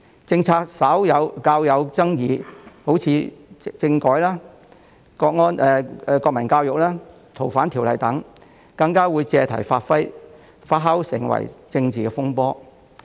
政策較有爭議，如政改、國民教育、《逃犯條例》等，更會被借題發揮，發酵成政治風波。